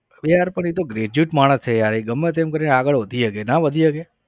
યાર પણ એ તો graduate માણસ છે યાર ગમે તેમ કરી આગળ વધી શકે ના વધી શકે?